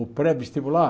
O pré-vestibular?